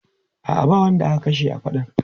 A'a, ba wanda aka kashe a faɗan.